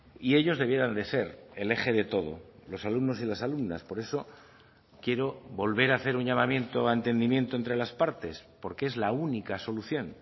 y ellos debieran de ser el eje de todo los alumnos y las alumnas por eso quiero volver a hacer un llamamiento a entendimiento entre las partes porque es la única solución